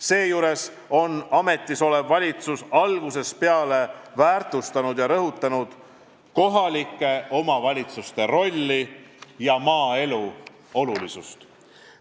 Seejuures on ametisolev valitsus algusest peale väärtustanud ja rõhutanud kohalike omavalitsuste rolli ja maaelu olulisust.